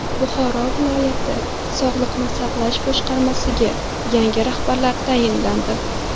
Buxoro viloyat sog‘liqni saqlash boshqarmasiga yangi rahbar tayinlandi.